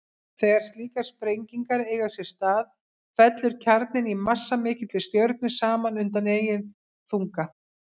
Þegar slíkar sprengingar eiga sér stað fellur kjarninn í massamikilli stjörnu saman undan eigin þunga.